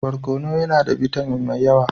Barkono yana da bitamin mai yawa.